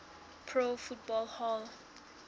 pro football hall